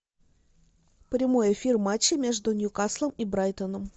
прямой эфир матча между ньюкаслом и брайтоном